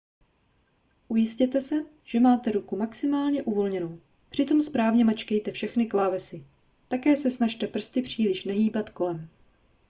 ujistěte se že máte ruku maximálně uvolněnou přitom správně mačkejte všechny klávesy také se snažte prsty příliš nehýbat kolem